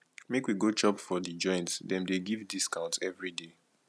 make we go chop for di joint dem dey give discount everyday